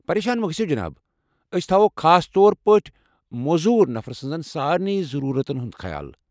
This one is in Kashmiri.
پریشان مہ گٔژھِو جناب، ٲسۍ تھوٚو خاص طور پٲٹھۍ موٗزور نفر سٕنٛزن سارنٕی ضروٗرَتن ہُنٛد خیال۔